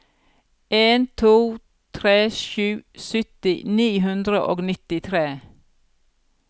en to tre sju sytti ni hundre og nittitre